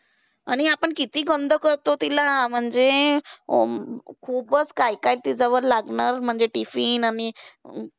आणि आपण किती गन्दा करतो त्याला. म्हणजे खुपचं काय काय तिच्यावर लादणार म्हणजे tiffin आणि